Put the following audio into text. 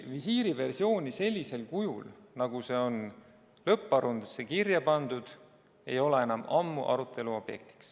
Visiiriversioon sellisel kujul, nagu see on lõpparuandesse kirja pandud, ei ole enam ammu arutelu objekt.